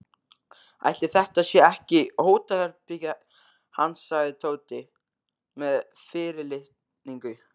Ætli þetta sé ekki hótelherbergið hans sagði Tóti með fyrirlitningu.